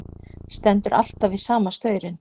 Stendur alltaf við sama staurinn.